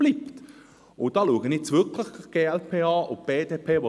Da schaue ich nun wirklich die glp und die BDP an.